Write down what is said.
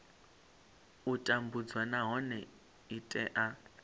u tambudzwa nahone i tea